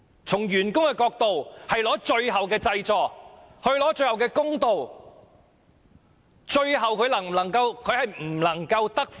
從員工的角度，是拿取最後的濟助，爭取最後的公道。